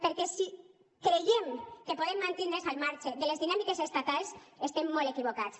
perquè si creiem que podem mantindre’ns al marge de les dinàmiques estatals estem molt equivocats